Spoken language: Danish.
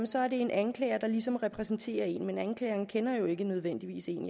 så er det en anklager der ligesom repræsenterer en men anklagerne kender jo ikke nødvendigvis en